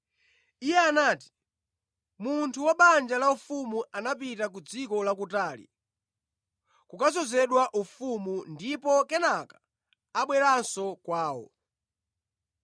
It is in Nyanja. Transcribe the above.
Iye anati, “Munthu wa banja laufumu anapita ku dziko lakutali kukadzozedwa ufumu ndipo kenaka abwerenso kwawo.